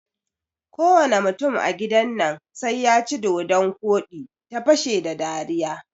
Kowane mutum a gidan nan sai yaci dodon koɗi, ta fashe da dariya